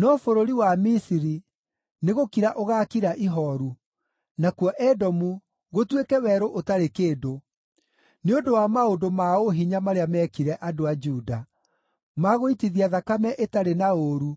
No bũrũri wa Misiri nĩgũkira ũgaakira ihooru, nakuo Edomu gũtuĩke werũ ũtarĩ kĩndũ, nĩ ũndũ wa maũndũ ma ũhinya marĩa meekire andũ a Juda, ma gũitithia thakame ĩtarĩ na ũũru